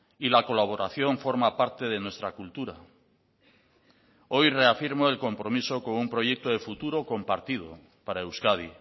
y la colaboración forma parte de nuestra cultura hoy reafirmo el compromiso con un proyecto de futuro compartido para euskadi